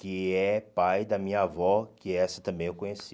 Que é pai da minha avó, que essa também eu conheci.